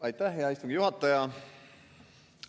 Aitäh, hea istungi juhataja!